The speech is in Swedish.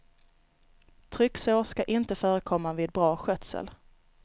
Trycksår skall inte förekomma vid bra skötsel.